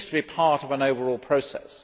it needs to be part of an overall process.